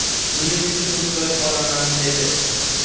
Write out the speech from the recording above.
Buning uchun ruxsat olaman”, dedi.